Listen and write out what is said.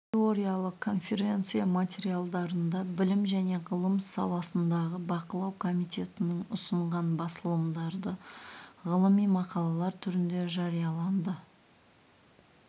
теориялық конференция материалдарында білім және ғылым саласындағы бақылау комитетінің ұсынған басылымдарда ғылыми мақалалар түрінде жарияланды